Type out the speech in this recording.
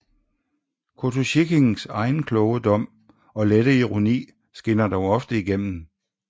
Kotosjikhins egen kloge dom og lette ironi skinner dog ofte igennem